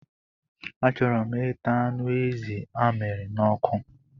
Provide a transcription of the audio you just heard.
A chọrọ m ịta anụ ezi a miri n'ọkụ.